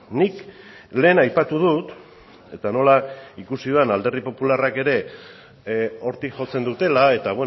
nik lehen aipatu dut eta nola ikusi dudan alderdi popularrak ere hortik jotzen dutela eta